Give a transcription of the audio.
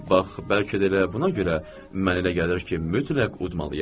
Bax, bəlkə də elə buna görə mənə elə gəlir ki, mütləq udmalıyam.